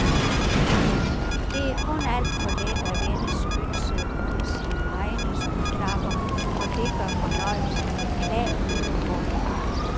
Det er kun alt for let at vende skytset mod sine egne skyklapper og det gør fornøjelsen beklageligt kortvarig.